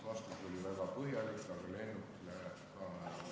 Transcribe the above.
Vastus oli väga põhjalik ja lennuk läheb ära.